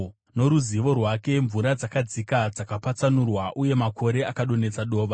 noruzivo rwake mvura dzakadzika dzakapatsanurwa, uye makore akadonhedza dova.